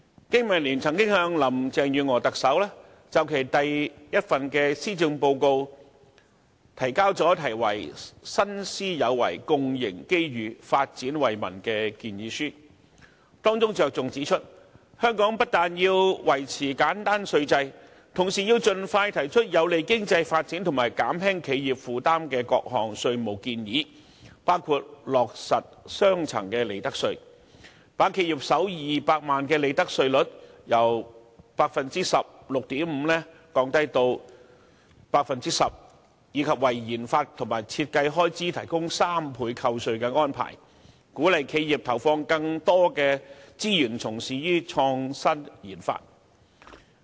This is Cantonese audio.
經民聯曾就特首林鄭月娥的第一份施政報告提交題為"新思有為，共迎機遇，發展惠民"的建議書，當中重點指出，香港不但要維持簡單稅制，同時要盡快提出有利經濟發展及減輕企業負擔的各項稅務建議，包括落實利得稅兩級制，把企業首200萬元利潤的利得稅率由 16.5% 降低至 10%， 以及為研發和設計開支提供3倍扣稅的安排，鼓勵企業投放更多資源從事創新研發。